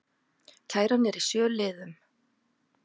Kæran er í sjö liðum